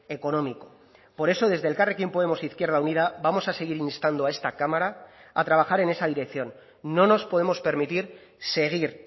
económico por eso desde elkarrekin podemos izquierda unida vamos a seguir instando a esta cámara a trabajar en esa dirección no nos podemos permitir seguir